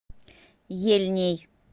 ельней